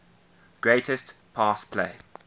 greatest pass play